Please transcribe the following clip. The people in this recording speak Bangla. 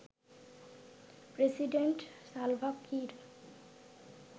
president Salva Kiir